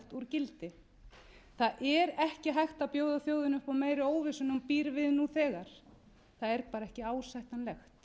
gildi það er ekki hægt að bjóða þjóðinni upp á meiri óvissu en hún býr við nú þegar það er bara ekki ásættanlegt